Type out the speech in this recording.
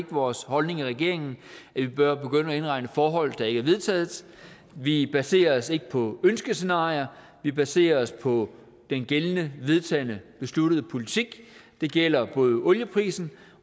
vores holdning i regeringen at vi bør begynde at indregne forhold der ikke er vedtaget vi baserer os ikke på ønskescenarier vi baserer os på den gældende vedtagne besluttede politik det gælder både olieprisen